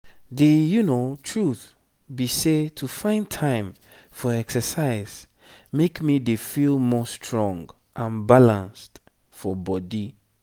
the truth be sey to find time for exercise make me dey feel more strong and balanced for body.